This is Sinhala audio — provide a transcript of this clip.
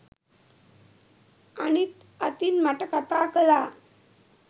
අනිත් අතින් මට කතා කළා